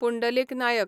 Pundalik Naik